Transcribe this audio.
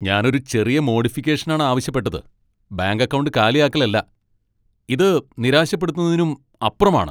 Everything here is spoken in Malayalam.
ഞാൻ ഒരു ചെറിയ മോഡിഫിക്കേഷനാണ് ആവശ്യപ്പെട്ടത്, ബാങ്ക് അക്കൗണ്ട് കാലിയാക്കലല്ല ! ഇത് നിരാശപ്പെടുത്തുന്നതിനും അപ്പുറമാണ്.